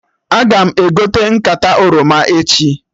Aga m egote nkata oroma echi